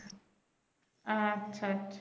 আচ্ছা আচ্ছা